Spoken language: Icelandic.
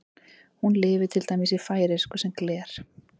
Hún lifir til dæmis í færeysku sem gler.